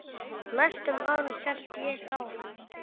Næstu árin held ég, já.